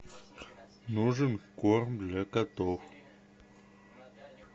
нужен корм для котов